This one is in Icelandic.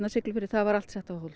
Siglufirði það var allt sett á